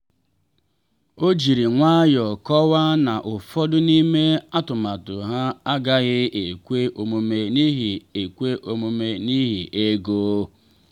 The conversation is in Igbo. o jiri nwayọ kọwaa na ụfọdụ n'ime atụmatụ ha agaghị ekwe omume n’ihi ekwe omume n’ihi ego.